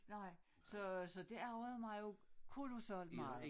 Nej så så det ærgede mig jo kolosalt meget